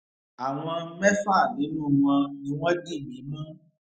àwọn mẹfà nínú wọn ni wọn dì mí mú